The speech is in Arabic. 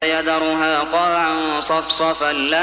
فَيَذَرُهَا قَاعًا صَفْصَفًا